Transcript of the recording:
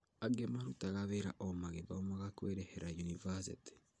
Angĩ nĩmarutaga wira o magĩthomaga kwĩrĩhĩra yunibathĩtĩ